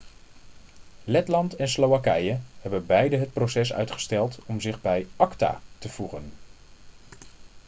letland en slowakije hebben beide het proces uitgesteld om zich bij acta te voegen